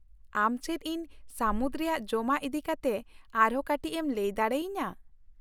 ᱟᱢ ᱪᱮᱫ ᱤᱧ ᱥᱟᱹᱢᱩᱫ ᱨᱮᱭᱟᱜ ᱡᱚᱢᱟᱜ ᱤᱫᱤ ᱠᱟᱛᱮ ᱟᱨᱦᱚᱸ ᱠᱟᱹᱴᱤᱡ ᱮᱢ ᱞᱟᱹᱭ ᱫᱟᱲᱮ ᱟᱹᱧᱟᱹ ?